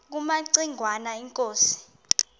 kumaci ngwana inkosi